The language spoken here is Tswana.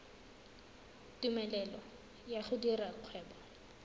tumelelo ya go dira kgwebo